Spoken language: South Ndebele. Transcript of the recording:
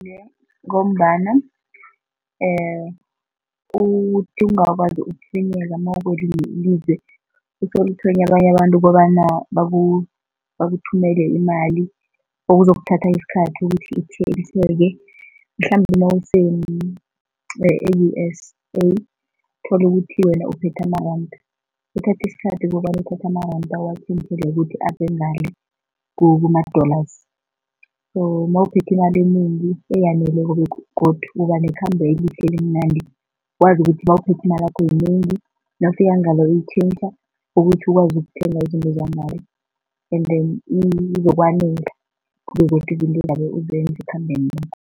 Iye, ngombana uthi ungakwazi mawukwelinye ilizwe usolo uthswenya abanye abantu kobana bakuthumele imali okuzokuthatha isikhathi ukuthi itjhentjheke, mhlambe nawuse-U_S_A uthole ukuthi wena uphethe amaranda, kuthatha isikhathi kobana uthathe amaranda ukuthi abengale kuma-dollars so mawuphethwe imali enengi, eyaneleko begodu ubanekhambo elihle, elimnandi. Wazi ukuthi nawuphethwe imalakho yinengi, nawufika ngale ukuthi ukwazi ukuthenga izinto zanngale and then izokwanela izinto ozabe uzenza ekhambeni